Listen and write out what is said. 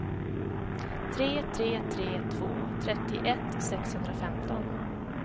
tre tre tre två trettioett sexhundrafemton